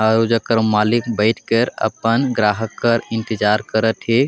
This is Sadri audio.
और ऊकर मालिक बैठ कर अपन ग्राहक कर इंतजार करत आहे।